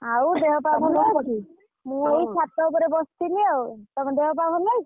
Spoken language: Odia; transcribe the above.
ଆଉ ଦେହ ପା ଭଲ ଅଛି ମୁ ଏଇ ଛାତ ଉପରେ ବସିଥିଲି ଆଉ ତମ ଦେହ ପା ଭଲ ଅଛି?